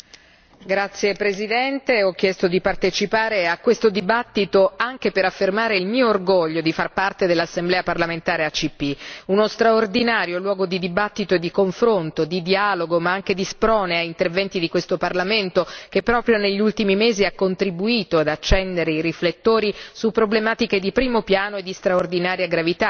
Signora Presidente, onorevoli colleghi, ho chiesto di partecipare a questo dibattito anche per affermare il mio orgoglio di far parte dell'Assemblea parlamentare ACP, uno straordinario luogo di dibattito e di confronto, di dialogo ma anche di sprone a interventi di questo Parlamento, che proprio negli ultimi mesi ha contribuito ad accendere i riflettori su problematiche di primo piano e di straordinaria gravità.